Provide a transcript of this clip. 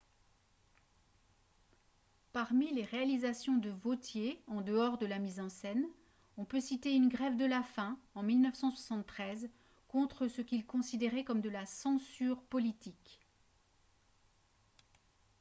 parmi les réalisations de vautier en dehors de la mise en scène on peut citer une grève de la faim en 1973 contre ce qu'il considérait comme de la censure politique